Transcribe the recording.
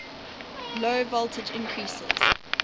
low voltage increases